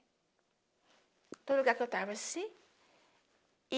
Todo lugar que eu tava, assim.